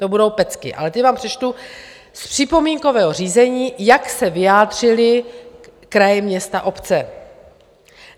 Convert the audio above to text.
To budou pecky, ale ty vám přečtu z připomínkového řízení, jak se vyjádřily kraje, města, obce.